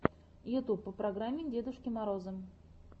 ютюб по программе дедушки мороза